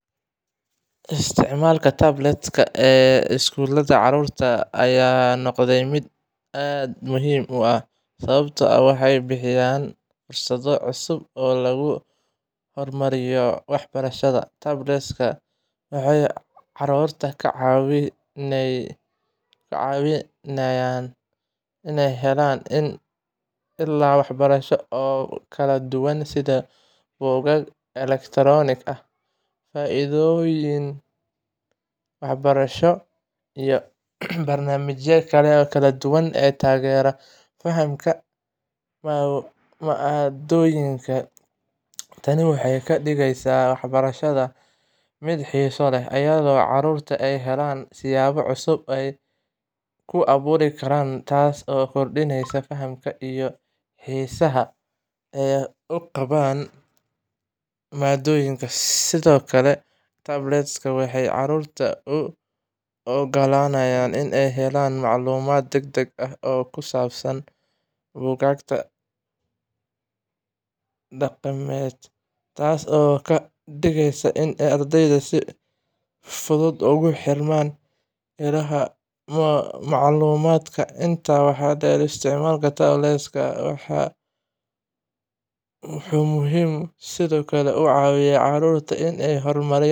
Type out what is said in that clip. Isticmaalka tablets-ka ee iskuulada carruurta ayaa noqday mid aad muhiim u ah, sababtoo ah waxay bixiyaan fursado cusub oo lagu horumariyo waxbarashada. Tablets-ka waxay carruurta ka caawiyaan inay helaan ilo waxbarasho oo kala duwan, sida buugaag elektaroonik ah, fiidiyowyo waxbarasho, iyo barnaamijyo kala duwan oo taageera fahamka maaddooyinka. Tani waxay ka dhigaysaa waxbarashada mid xiiso leh, iyadoo caruurta ay helayaan siyaabo cusub oo ay ku baran karaan, taas oo kordhinaysa fahamka iyo xiisaha ay u qabaan maaddooyinka. Sidoo kale, tablets-ka waxay carruurta u oggolaanayaan inay helaan macluumaad degdeg ah oo ka baxsan buugaagta dhaqameed, taas oo ka dhigaysa in ardayda ay si fudud ugu xirmaan ilaha macluumaadka. Intaa waxaa dheer, isticmaalka tablets-ka wuxuu sidoo kale ka caawiyaa carruurta inay horumariyaan.